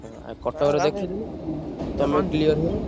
ହଁ ଆଉ କଟକରେ ଦେଖେଇଦେଲେ ଉଁ ତମ clear ହେଲ।